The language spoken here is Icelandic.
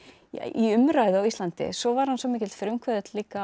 í umræðu á Íslandi svo var hann svo mikill frumkvöðull líka